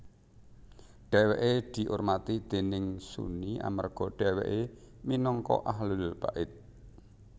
Dhèwèké diurmati déning Sunni amarga dhèwèké minangka Ahlul Bait